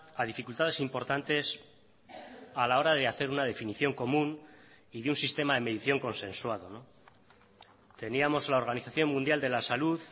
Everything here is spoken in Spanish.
a dificultades importantes a la hora de hacer una definición común y de un sistema de medición consensuado teníamos la organización mundial de la salud